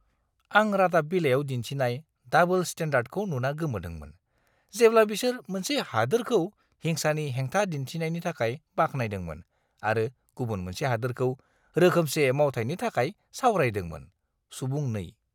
आं रादाब बिलाइयाव दिन्थिनाय डाबोल स्टेन्डार्डखौ नुना गोमोदोंमोन, जेब्ला बिसोर मोनसे हादोरखौ हिंसानि हेंथा दिन्थिनायनि थाखाय बाख्नायदोंमोन आरो गुबुन मोनसे हादोरखौ रोखोमसे मावथायनि थाखाय सावरायदोंमोन। (सुबुं 2)